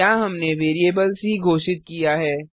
यहाँ हमने variable C घोषित की है